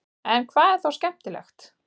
en hvað er þá skemmtilegt